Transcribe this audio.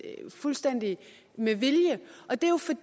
fuldstændig med vilje